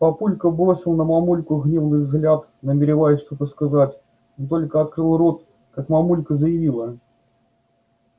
папулька бросил на мамульку гневный взгляд намереваясь что-то сказать но только открыл рот как мамулька заявила